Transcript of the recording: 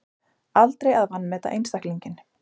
Aldrei að vanmeta einstaklinginn